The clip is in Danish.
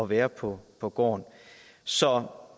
være på på gården så